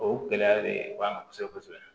O gɛlɛya de ye bamananw kɔ kosɛbɛ kosɛbɛ